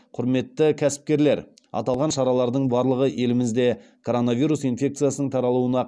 құрметті кәсіпкерлер аталған шаралардың барлығы елімізде коронавирус инфекциясының таралуына